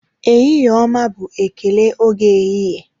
Ehihie ọma bụ ekele oge ehihie